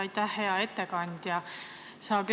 Aitäh, hea ettekandja!